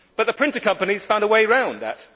But the printer companies found a way around that.